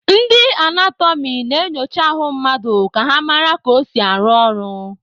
Ndị anatọmị na-enyocha ahụ mmadụ ka ha mara ka o si arụ ọrụ.